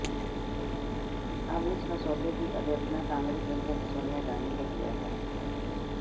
अब इस मसौदे की आलोचना कांग्रेस अध्यक्ष सोनिया गांधी ने किया है